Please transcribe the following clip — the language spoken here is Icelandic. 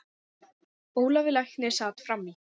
Ólafur læknir sat fram í.